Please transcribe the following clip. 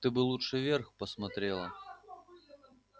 ты бы лучше вверх посмотрела